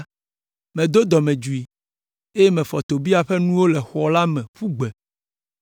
medo dɔmedzoe, eye mefɔ Tobia ƒe nuwo le xɔ la me ƒu gbe.